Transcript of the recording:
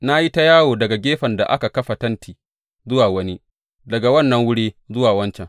Na yi ta yawo daga gefen da aka kafa tenti zuwa wani, daga wannan wuri zuwa wancan.